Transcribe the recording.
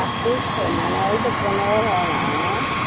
আটত্রিশ তো মানে ওই পনেরো ধরো না